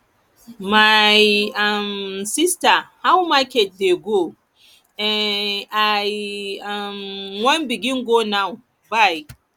my um sista how market dey go um i um wan begin go now bye